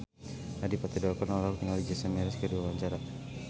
Adipati Dolken olohok ningali Jason Mraz keur diwawancara